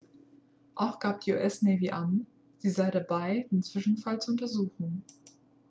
auch gab die us navy an sie sei dabei den zwischenfall zu untersuchen